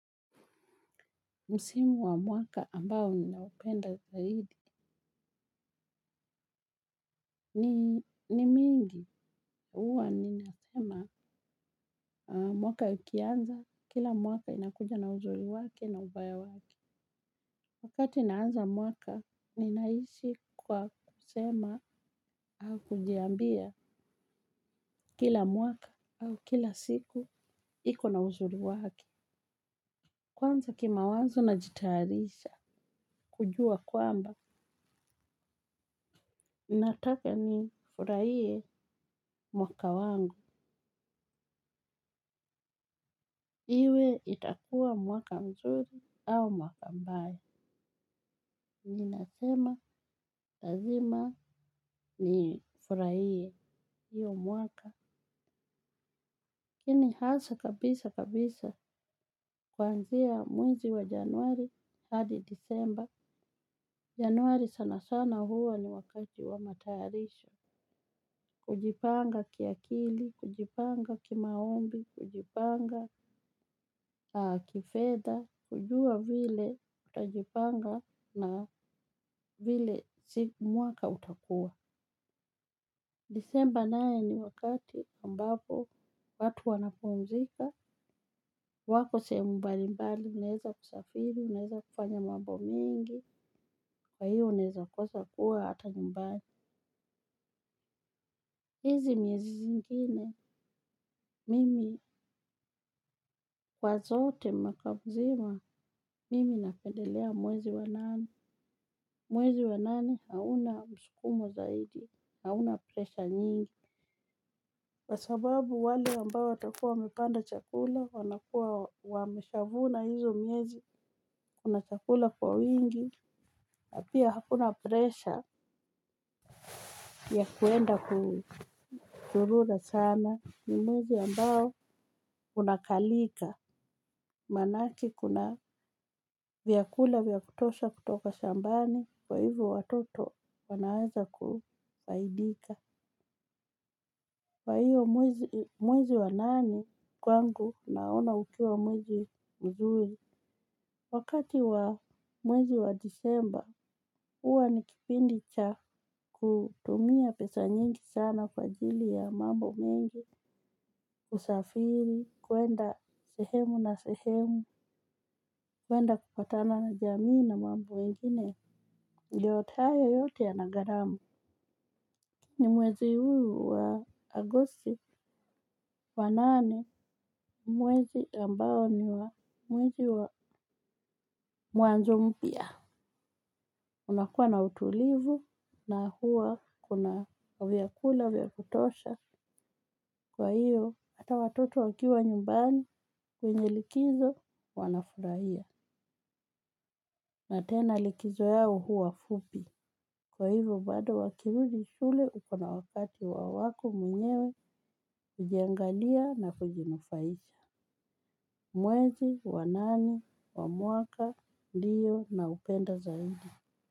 Msimu wa mwaka ambao ninaupenda zaidi ni mingi huwa ninasema mwaka ikianza kila mwaka inakuja na uzuri wake na ubaya wake. Wakati naanza mwaka ninaishi kwa kusema au kujiambia kila mwaka au kila siku ikona uzuri wake. Kwanza kimawazo najitayarisha kujua kwamba nataka ni furahie mwaka wangu. Iwe itakua mwaka mzuri au mwaka mbaya. Ninasema lazima ni furahie. Iyo mwaka. Lakini hasa kabisa kabisa. Kwanzia mwezi wa Januari hadi Disemba. Januari sana sana huwa ni wakati wa matayarisho. Kujipanga kiakili. Kujipanga kimaombi. Kujipanga kifedha kujua vile utajipanga na vile si mwaka utakuwa. Disemba naye ni wakati ambapo watu wanapumzika. Wako sehemu mbali mbali, naeza kusafiri, uneza kufanya mambo mingi. Kwa hiyo unaeza kosa kuwa hata nyumbani. Hizi miezi zingine, mimi kwa zote mwaka mzima, mimi napendelea mwezi wanane. Mwezi wanane hauna msukumo zaidi. Hauna pressure nyingi kwasababu wale ambao watakuwa wamepanda chakula wanakuwa wameshavuna hizo miezi. Kuna chakula kwa wingi pia hakuna pressure. Ya kuenda kuzurura sana. Ni mwezi ambao unakalika. Manake kuna vyakula vya kutosha kutoka shambani. Kwa hivo watoto wanaweza kufaidika kwa hiyo mwezi wa nane kwangu naona ukiwa mwezi mzuri. Wakati wa mwezi wa disemba, huwa ni kipindi cha kutumia pesa nyingi sana kwa ajili ya mambo mengi. Usafiri, kwenda sehemu na sehemu, kwenda kupatana jamii na mambo wengine. Yote hayo yote yana gharama. Ni mwezi huu wa agosti wanane mwezi ambao ni wa mwezi wa mwanzo mpya. Unakuwa na utulivu na huwa kuna vyakula vya kutosha kwa hiyo hata watoto wakiwa nyumbani kwenye likizo wanafurahia. Na tena likizo yao huwa fupi. Kwa hivo bado wakirudi shule ukona wakati wa wako mwenyewe kujiangalia na kujinufaisha. Mwezi wanane wa mwaka ndiyo na upendo zaidi.